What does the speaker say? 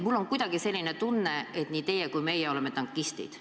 Mul on kuidagi selline tunne, et nii teie kui ka meie oleme tankistid.